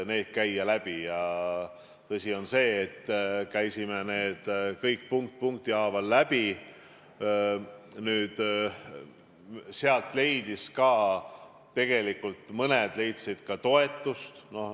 Tõsi on see, et me võtsime kõik need punkt punkti haaval läbi ja mõned ettepanekud leidsid ka toetust.